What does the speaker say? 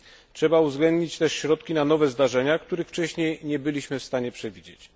Trzeba uwzględnić też środki na nowe zdarzenia, których wcześniej nie byliśmy w stanie przewidzieć.